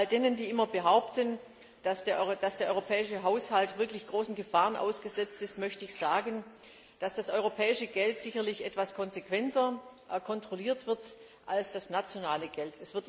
All denjenigen, die immer behaupten, dass der europäische Haushalt wirklich großen Gefahren ausgesetzt ist, möchte ich sagen, dass das europäische Geld sicherlich etwas konsequenter kontrolliert wird als das nationale Geld.